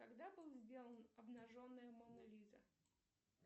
когда был сделан обнаженная мона лиза